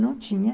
não tinha.